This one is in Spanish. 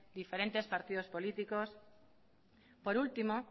diferentes partidos políticos por último